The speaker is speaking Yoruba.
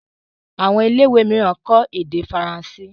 Àwọn ilé ìwé míràn kò ede faransé.